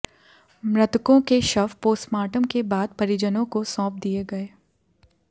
मृतकों को शव पोस्टमार्टम के बाद परिजनों को सौंप दिये गये